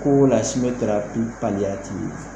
Ko